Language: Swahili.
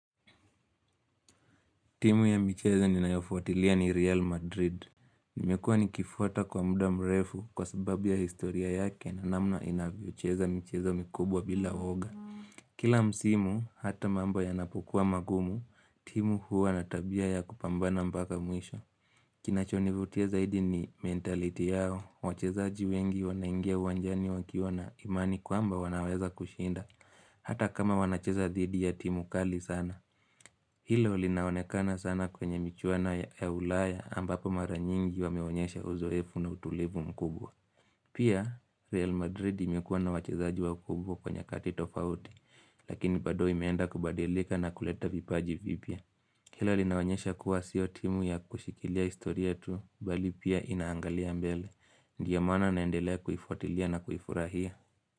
Timu ya micheza ninaifuatilia ni Real Madrid. Nimekua nikifuata kwa muda mrefu kwa sababia historia yake na namna inavyocheza micheza mikubwa bila oga. Kila msimu, hata mambo ya napokua magumu, timu huwa natabia ya kupambana mbaka mwisho. Kinachonivutia zaidi ni mentaliti yao. Wachezaji wengi wanaingia wanjani wakiona imani kuamba wanaweza kushinda. Hata kama wanachezadhidi ya timu kali sana. Hilo linaonekana sana kwenye michuano ya ulaya ambapo maranyingi wamewonyesha uzoefu na utulivu mkubwa. Pia, Real Madrid imekuwa na wachizaji wa mkubwa kwenye kati tofauti, lakini bado imeenda kubadilika na kuleta vipaji vipia. Hilo linawonyesha kuwa siotimu ya kushikilia istorietu, bali pia inaangalia mbele. Ndiyamana naendelea kufuatilia na kuifurahia.